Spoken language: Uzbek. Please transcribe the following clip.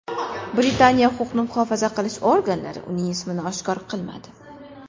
Britaniya huquqni muhofaza qilish organlari uning ismini oshkor qilmadi.